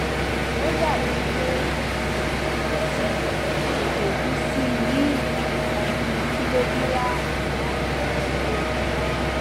ó dàbíi pé ó ti tètè wú síi tètè wú síi ní ìwọn nǹkan bíi kìlógíráàmù márùnúndínlógún